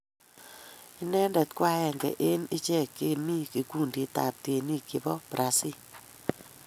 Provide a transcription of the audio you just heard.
Anendet ko a agenge eng' ichek chemi kikundit ab tyenik che po brasi.